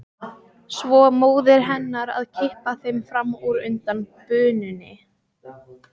Svo móðir hennar að kippa þeim fram úr undan bununni.